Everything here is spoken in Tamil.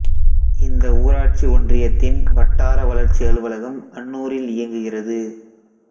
இந்த ஊராட்சி ஒன்றியத்தின் வட்டார வளர்ச்சி அலுவலகம் அன்னூரில் இயங்குகிறது